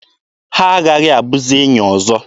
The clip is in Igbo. Ha aghaghị abụzi enyi ọzọ.